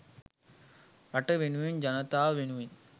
රට වෙනුවෙන් ජනතාව වෙනුවෙන්